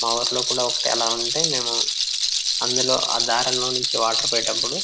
మా ఊరిలో కూడా ఒకటి అలా ఉంటే మేము అందులో ఆ దారాలు లో నుండి వాటర్ పోయేటప్పుడు --